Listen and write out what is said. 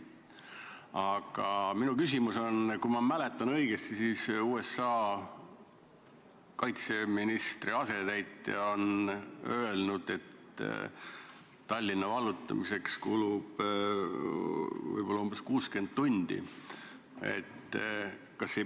Aga kui ma mäletan õigesti, siis USA kaitseministri asetäitja on öelnud, et Tallinna vallutamiseks kulub võib-olla umbes 60 tundi.